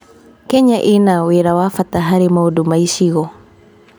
Kenya ĩna wĩra wa bata harĩ maũndũ ma ĩcigo.